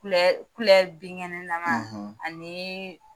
binkɛnɛ na man ani